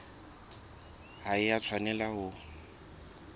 ha e a tshwanela ho